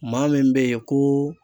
Maa min be yen koo